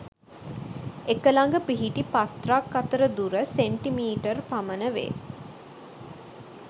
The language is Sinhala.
එක ළඟ පිහිටි පත්‍ර ක් අතර දුර සෙ.මී පමණ වේ